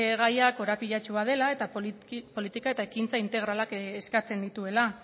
gaia korapilatsua dela eta politika ekintza integralak eskatzen dituela